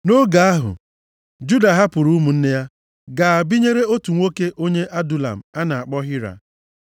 Nʼoge ahụ, Juda hapụrụ ụmụnne ya gaa binyere otu nwoke onye Adulam a na-akpọ Hira.